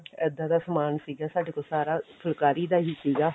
ਇੱਦਾਂ ਦਾ ਸਮਾਨ ਸੀਗਾ ਸਾਡੇ ਕੋਲ ਸਾਰਾ ਫੁੱਲਕਾਰੀ ਦਾ ਹੀ ਸੀਗਾ